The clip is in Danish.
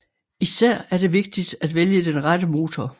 Især er det vigtigt at vælge den rette motor